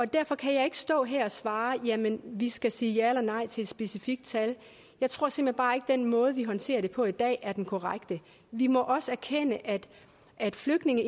derfor kan jeg ikke stå her og svare jamen vi skal sige ja eller nej til et specifikt tal jeg tror simpelt hen bare ikke den måde vi håndterer det på i dag er den korrekte vi må også erkende at at flygtninge